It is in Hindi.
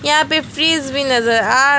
यहां पे फ्रिज भी नजर आ रहा--